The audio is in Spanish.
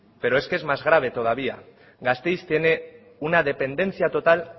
pero es que es más grave todavía gasteiz tiene una dependencia total